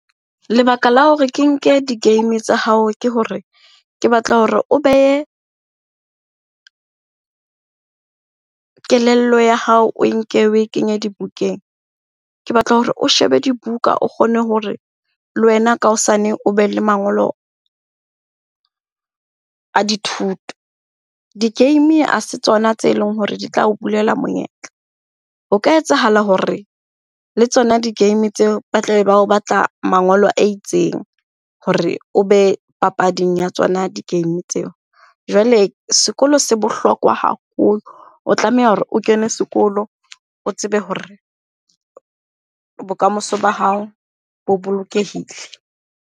Lebaka la hore ke nke di-game tsa hao ke hore ke batla hore o behe kelello ya hao o nke o e kenye dibukeng. Ke batla hore o shebe dibuka, o kgone hore le wena ka hosane o be le mangolo a dithuto. Di-game ha se tsona tse leng hore di tla o bulela monyetla. O ka etsahala hore le tsona di-game tseo ba tla be bao batla mangolo a itseng hore o be papading ya tsona di-game tseo. Jwale sekolo se bohlokwa haholo, o tlameha hore o kene sekolo, o tsebe hore bokamoso ba hao bo bolokehile.